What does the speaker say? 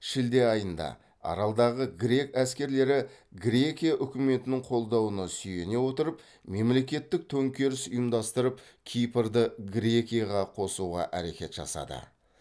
шілде айында аралдағы грек әскерлері грекия үкіметінің қолдауына сүйене отырып мемлекеттік төңкеріс ұйымдастырып кипрді грекияға қосуға әрекет жасады